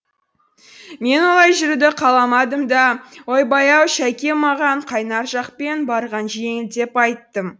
мен олай жүруді қаламадым да ойбай ау шәке маған қайнар жақпен барған жеңіл деп айттым